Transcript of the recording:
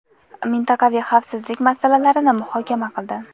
mintaqaviy xavfsizlik masalalarini muhokama qildi.